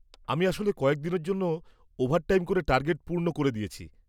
-আমি আসলে কয়েকদিনের জন্য ওভারটাইম করে টার্গেট পূর্ণ করে দিয়েছি।